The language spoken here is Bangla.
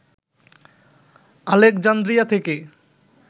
আলেকজান্দ্রিয়া থেকে